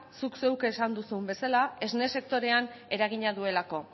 zuk zeuk esan duzun bezala esne sektorean eragina duelako